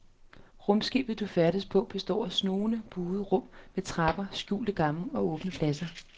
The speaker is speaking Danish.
Rumskibet du færdes på består af snoede, buede rum med trapper, skjulte gange og åbne pladser.